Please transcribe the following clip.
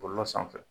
Bɔlɔlɔ sanfɛ